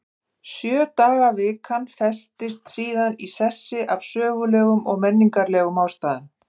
Sjö daga vikan festist síðan í sessi af sögulegum og menningarlegum ástæðum.